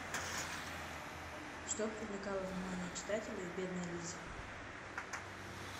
что привлекало внимание читателей в бедной лизе